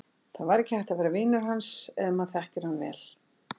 Það var ekki hægt að vera vinur hans ef maður þekkir hann vel.